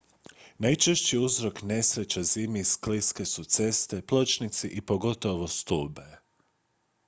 najčešći uzrok nesreća zimi skliske su ceste pločnici i pogotovo stube